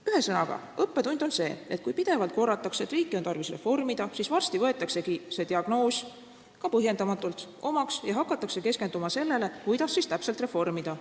Ühesõnaga, õppetund on see, et kui pidevalt korratakse, et riiki on tarvis reformida, siis varsti võetaksegi see diagnoos omaks ja hakatakse keskenduma sellele, kuidas siis täpselt reformida.